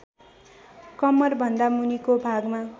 कम्मरभन्दा मुनिको भागमा